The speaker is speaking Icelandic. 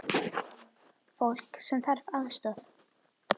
Fólk sem þarf aðstoð.